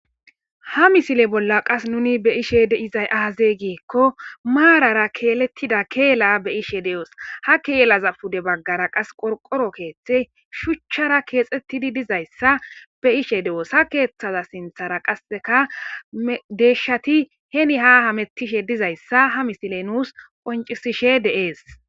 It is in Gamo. ha misile bolla qas nuni be ishe deizay aaze giekko maarara keelettida keela be ishe de7os ha keelaza pude baggara qas qorqoro keeththe shuchchara keexettidi dizayssa be ishe de7os ha keeththaza sinthara qasseka deeshati heni ha hamettishe dizayssa ha misile nuus qoncisishe deees